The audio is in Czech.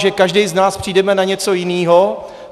Že každý z nás přijdeme na něco jiného.